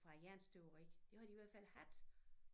Fra æ jernstøberi det har de i hvert fald haft